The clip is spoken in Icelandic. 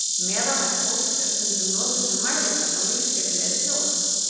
meðalhæð fólks er stundum notuð sem mælikvarði á lífsskilyrði þjóða